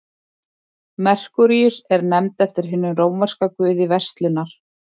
merkúríus er nefnd eftir hinum rómverska guði verslunar